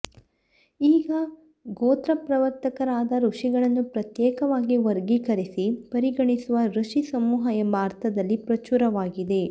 ಈಗ ಗೋತ್ರಪ್ರವರ್ತಕರಾದ ಋಷಿಗಳನ್ನು ಪ್ರತ್ಯೇಕವಾಗಿ ವರ್ಗೀಕರಿಸಿ ಪರಿಗಣಿಸುವ ಋಷಿ ಸಮೂಹ ಎಂಬ ಅರ್ಥದಲ್ಲಿ ಪ್ರಚುರವಾಗಿದೆ